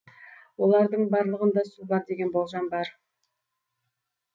олардың барлығында су бар деген болжам бар